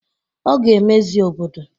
Ọ ga-emezi obodo